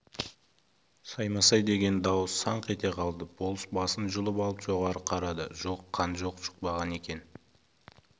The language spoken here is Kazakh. саймасай деген дауыс санқ ете қалды болыс басын жұлып алып жоғары қарады жоқ қан жұкпаған екен